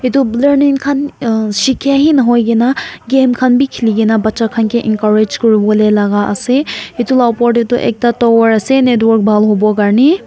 itu khan um shikey hee nahoi kena game khan bi khiligena bacha khan kay encourage kuri wole laga ase itu la opor teydu ekta tower ase network buhal hobo korney.